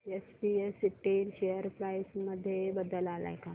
SPS Intel share price मध्ये बदल आलाय का